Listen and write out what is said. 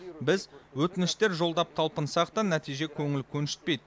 біз өтініштер жолдап талпынсақ та нәтиже көңіл көншітпейді